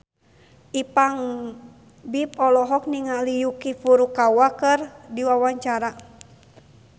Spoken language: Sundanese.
Ipank BIP olohok ningali Yuki Furukawa keur diwawancara